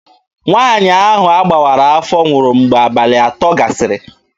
Nwaanyị ahụ a gbawara afọ nwụrụ mgbe abalị atọ gasịrị.